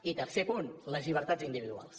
i tercer punt les llibertats individuals